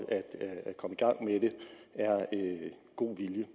er god vilje